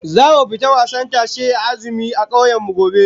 Zamu fita wasan tashe na azumi a kauyen mu gobe